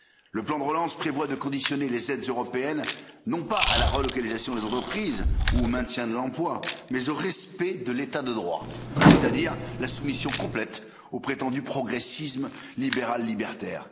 Le plan de relance prévoit de conditionner les aides européennes, non pas à la relocalisation des entreprises ou au maintien de l'emploi, mais au respect de l'état de droit, c'est à dire la soumission complète au prétendu progressisme libéral libertaire.